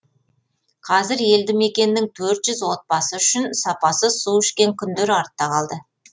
қазір елді мекеннің төрт жүз отбасы үшін сапасыз су ішкен күндер артта қалды